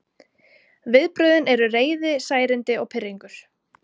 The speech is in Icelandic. Viðbrögðin eru reiði, særindi og pirringur.